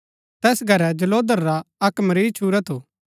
तैस घरै जलोधर रा अक्क मरीज छूरा थू